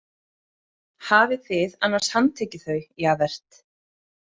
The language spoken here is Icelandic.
Hafið þið annars handtekið þau, Javert?